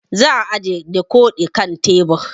Zan ajiye dikodi kan tebur